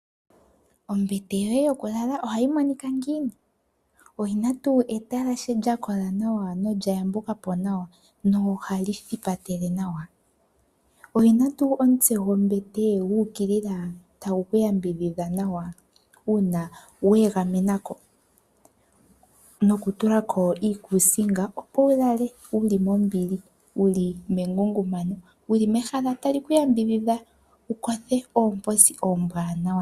Ombete yoye yoku lala ohayi monika ngiini oyina tuu etlashe lya kola nawa nolya yambuka po nawa nohali thipatele nawa, oyina tuu omutse gwombete guukilila tagu ku ya mbidhidha nawa uuna we egamena ko noku tula ko iikusinga opo wu lale wuli mombili wuli mengungumano wuli mehala tali ku ya mbidhidha wu kothe oomposi oombwanawa.